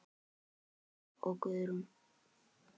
Haukur og Guðrún.